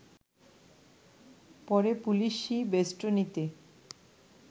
পরে পুলিশি বেস্টনীতে